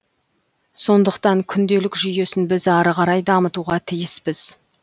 сондықтан күнделік жүйесін біз ары қарай дамытуға тиіспіз